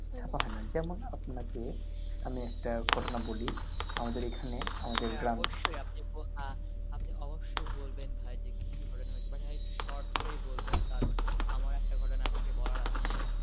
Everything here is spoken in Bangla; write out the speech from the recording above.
ছাপ্পা হয়না। যে, যেমন আপনাকে একটা ঘটনা বলি আমাদের এখানে আমাদের গ্রামে। হ্যাঁ অবশ্যই আপনি অবশ্যই বলবেন ভাই কি ঘটনা হয়েছে but একটু শর্ট করেই বলবেন কারণ আমার একটা ঘটনা আপনাকে বলার আছে.